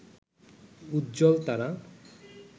উজ্জ্বল তারা